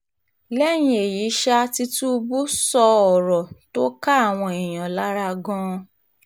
lẹ́yìn èyí ṣáà tìtúbù sọ ọ̀rọ̀ tó ká àwọn èèyàn lára gan-an